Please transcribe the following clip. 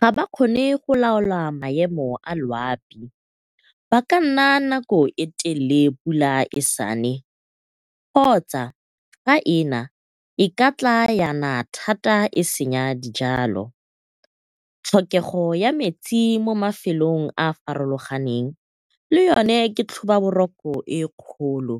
Ga ba kgone go laola maemo a loapi, ba ka nna nako e telele pula e sa ne kgotsa fa ena e katla ya na thata e senya dijalo. Tlhokego ya metsi mo mafelong a a farologaneng le yone ke tlhobaboroko e kgolo,